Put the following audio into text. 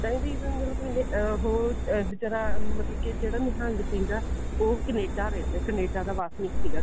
ਇੱਦਾਂ ਵੀ ਅਹ ਉਹ ਬੇਚਾਰਾ ਮਤਲਬ ਕਿ ਜਿਹੜਾ ਨਿਹੰਗ ਸਿੰਘ ਆ ਉਹ ਕਨੇਡਾ ਰਹਿੰਦਾ ਕਨੇਡਾ ਦਾ ਵਸਨੀਕ ਦੀ